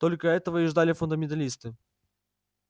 только этого и ждали фундаменталисты